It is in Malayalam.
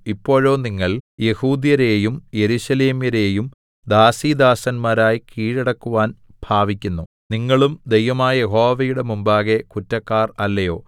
ഇപ്പോഴോ നിങ്ങൾ യെഹൂദ്യരെയും യെരൂശലേമ്യരെയും ദാസീദാസന്മാരായി കീഴടക്കുവാൻ ഭാവിക്കുന്നു നിങ്ങളും ദൈവമായ യഹോവയുടെ മുമ്പാകെ കുറ്റക്കാർ അല്ലയോ